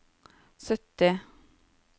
sytti